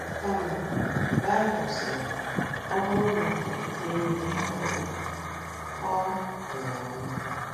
Kama, Baịbụl sịrị, “ ọ bụrụ na okwukwe enweghị ọrụ, ọ nwụrụ anwụ. ”